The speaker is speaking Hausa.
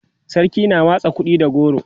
sarki na watsa kuɗi da goro